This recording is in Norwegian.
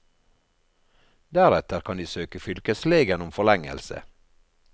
Deretter kan de søke fylkeslegen om forlengelse.